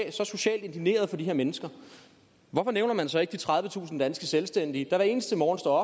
er så socialt indigneret på de her mennesker hvorfor nævner man så ikke de tredivetusind danske selvstændige der hver eneste morgen står